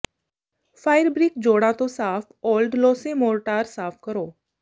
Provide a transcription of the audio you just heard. fire brick ਜੋੜਾਂ ਤੋਂ ਸਾਫ ਓਲਡ ਲੋਸੇ ਮੋਰਟਾਰ ਸਾਫ ਕਰੋ